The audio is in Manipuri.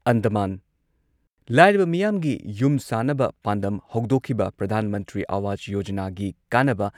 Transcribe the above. ꯑꯟꯗꯃꯥꯟ ꯂꯥꯏꯔꯕ ꯃꯤꯌꯥꯝꯒꯤ ꯌꯨꯝ ꯁꯥꯅꯕ ꯄꯥꯟꯗꯝ ꯍꯧꯗꯣꯛꯈꯤꯕ ꯄ꯭ꯔꯙꯥꯟ ꯃꯟꯇ꯭ꯔꯤ ꯑꯋꯥꯖ ꯌꯣꯖꯅꯥꯒꯤ ꯀꯥꯟꯅꯕ